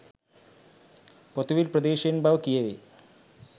පොතුවිල් ප්‍රදේශයෙන් බව කියැවේ.